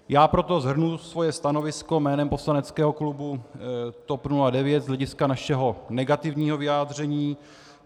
Já proto shrnu svoje stanovisko jménem poslaneckého klubu TOP 09 z hlediska našeho negativního vyjádření.